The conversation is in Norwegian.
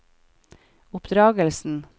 oppdragelsen